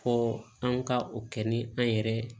Fo an ka o kɛ ni an yɛrɛ